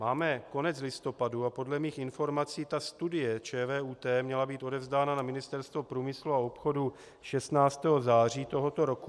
Máme konec listopadu a podle mých informací ta studie ČVUT měla být odevzdána na Ministerstvo průmyslu a obchodu 16. září tohoto roku.